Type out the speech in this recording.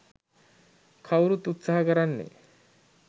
කවුරුත් උත්සහ කරන්නේ